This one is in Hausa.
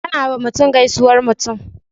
Ana wa mutum gaisuwar mutum